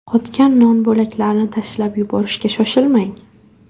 Qotgan non bo‘laklarini tashlab yuborishga shoshilmang.